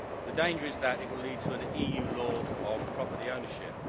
The danger is that it will lead to an EU law of property ownership.